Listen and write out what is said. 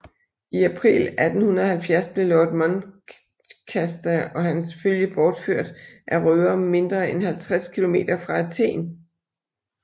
I april 1870 blev lord Muncaster og hans følge bortført af røvere mindre end 50 km fra Athen